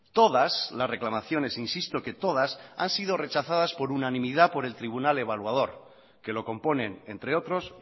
todas las reclamaciones insisto que todas han sido rechazadas por unanimidad por el tribunal evaluador que lo componen entre otros